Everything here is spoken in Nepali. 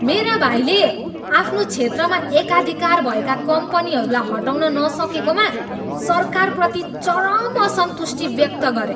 मेरा भाइले आफ्नो क्षेत्रमा एकाधिकार भएका कम्पनीहरूलाई हटाउन नसकेकोमा सरकारप्रति चरम असन्तुष्टि व्यक्त गरे।